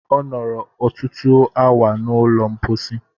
Ọ nọrọ ọtụtụ awa n'ụlọ mposi.